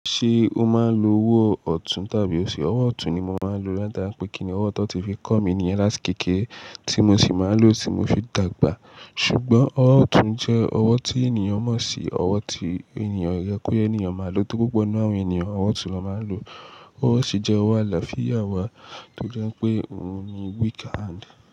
Ṣé o máa ń lo owó ọ̀tún tàbí òsì? Owó ọ̀tún ni mo máa ń lo. Láti bá pé kí ni owó tan tí fi kọ́ mi níyen lát íkèkére tí mo sì máa ń lò tí mo fi dàgbà. Ṣùgbọ́n owó ọ̀tún jẹ́ owó tí ènìyàn mọ̀ sí, owó tí ènìyàn rẹ pé ènìyàn máa lò tó púpọ̀ nínú àwọn ènìyàn, owó ọ̀tún ló máa ń lò. Owó òsì jẹ́ owó àlàáfíà wa toje pé òun ni weaker hand.